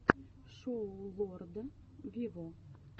шоу лорда виво